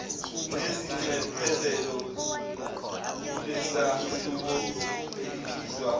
lezinxephezelo kulesahluko elibizwa